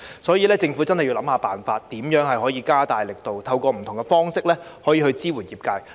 所以，政府要想辦法，思考如何加大力度，透過不同方式支援業界。